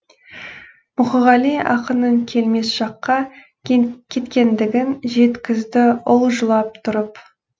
мұқағали ақынның келмес жаққа кеткендігін жеткізді ұл жылап тұрып